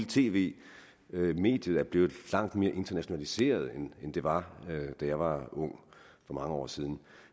tv mediet er blevet langt mere internationaliseret end det var da jeg var ung for mange år siden